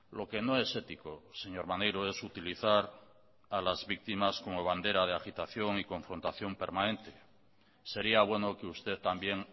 lo que no es ético señor maneiro es utilizar a las víctimas como bandera de agitación y confrontación permanente sería bueno que usted también